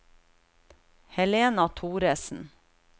Helena Thoresen